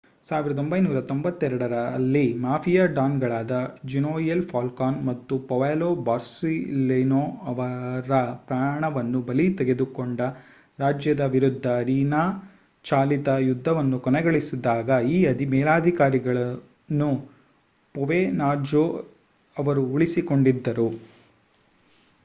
1992 ರಲ್ಲಿ ಮಾಫಿಯಾ ಡಾನ್‌ಗಳಾದ Giovanni Falcone ಮತ್ತು ಪಾವೊಲೊ ಬೊರ್ಸೆಲಿನೊ ಅವರ ಪ್ರಾಣವನ್ನು ಬಲಿ ತೆಗೆದುಕೊಂಡ ರಾಜ್ಯದ ವಿರುದ್ಧ ರಿನಾ-ಚಾಲಿತ ಯುದ್ಧವನ್ನು ಕೊನೆಗೊಳಿಸಿದಾಗ ಈ ಮೇಲಧಿಕಾರಿಗಳನ್ನು ಪ್ರೊವೆನ್ಜಾನೊ ಅವರು ಉಳಿಸಿಕೊಂಡಿದ್ದರು.